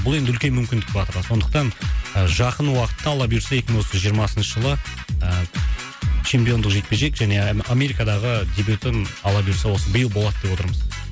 бұл енді үлкен мүмкіндік батырға сондықтан жақын уақытта алла бұйыртса екі мың осы жиырмасыншы жылы ыыы чемпиондық жекпе жек және америкадағы дебютын алла бұйыртса осы биыл болады деп отырмыз